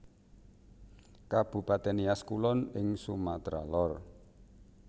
Kabupatèn Nias Kulon ing Sumatra Lor